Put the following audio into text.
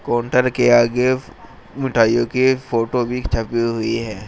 Counter के आगे मिठाइयों की एक फोटो भी छपी हुई है।